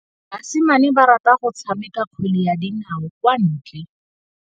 Basimane ba rata go tshameka kgwele ya dinaô kwa ntle.